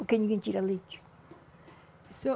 Porque ninguém tira leite. E o senhor